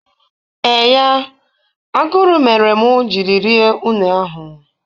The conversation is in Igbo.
Eee ya, aguru mere mụ jiri rie une ahụ